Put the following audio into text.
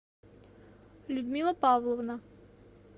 людмила павловна